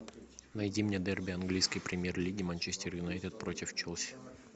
найди мне дерби английской премьер лиги манчестер юнайтед против челси